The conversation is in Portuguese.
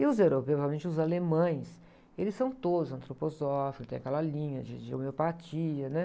E os europeus, provavelmente os alemães, eles são todos antroposóficos, tem aquela linha de, de homeopatia, né?